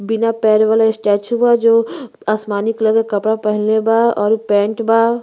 बिना पैर वाला स्टेचू बा जो आसमानी क्लर के कपडा पहीनले बा और उ पैंट बा।